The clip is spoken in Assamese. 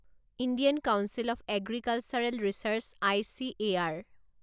Indian council of agricultural research ICAR